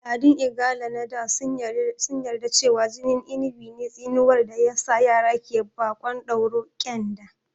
Al'adun Igala na da sun yarda da cewa jinin Inigɓi ne tsinuwar da ya sa yara ke baƙon dauro (ƙyanda)